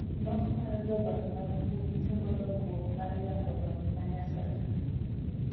Nok mar jolony mag mbui chungo dongruok mar yango lony manyasani.